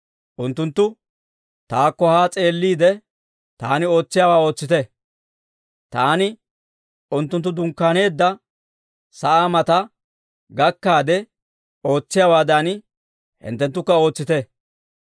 Unttuntta, «Taakko haa s'eelliide, taani ootsiyaawaa ootsite. Taani unttunttu dunkkaaneedda sa'aa mataa gakkaade ootsiyaawaadan, hinttenttukka ootsite.